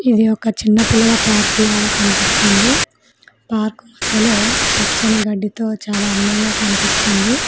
ఇది ఒక చిన్న పిల్లల పార్క్ లాగా కనిపిస్తుంది పార్క్ మద్యలో పచ్చని గడ్డితో చాలా అందంగా కన్పిస్తుంది.